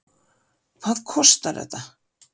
Hvað kostar þetta?